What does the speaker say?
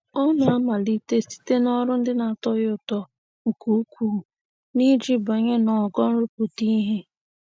Ọ na-amalite site n'ọrụ ndị na-atọ ya ụtọ nke ukwuu um iji banye n'ogo nrụpụta ihe.